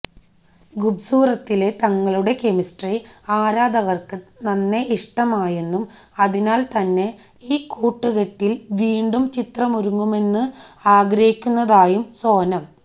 ഖൂബ്സൂരത്തിലെ തങ്ങളുടെ കെമിസ്ട്രി ആരാധകര്ക്ക് നന്നെ ഇഷ്ടമായെന്നും അതിനാല് തന്നെ ഈ കൂട്ടുകെട്ടില് വീണ്ടും ചിത്രമൊരുങ്ങണമെന്ന് ആഗ്രഹിയ്ക്കുന്നതായും സോനം